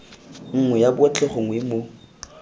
nngwe ya botlhe gongwe mo